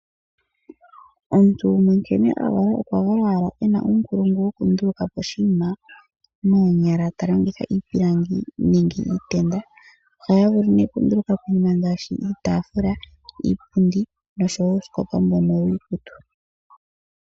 Omuntu gumwe nkene avalwa okwa valwa ena ukulungu woku ndulukapo Oshima nonyala talongitha iipilangi nenge iitenda, oha yavulu ne oku ndulukapo iinima ngashi iitafula, iipundi nosho wo uusikopa mbono wiikutu.